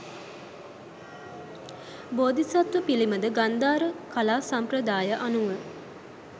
බෝධිසත්ව පිළිමද ගන්ධාර කලා සම්ප්‍රදාය අනුව